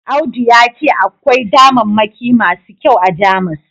audu ya ce akwai damammaki masu kyau a Jamus